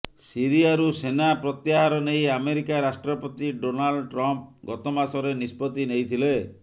ସିରିଆରୁ ସେନା ପ୍ରତ୍ୟାହାର ନେଇ ଆମେରିକା ରାଷ୍ଟ୍ରପତି ଡୋନାଲ୍ଡ ଟ୍ରମ୍ପ ଗତମାସରେ ନିଷ୍ପତ୍ତି ନେଇଥିଲେ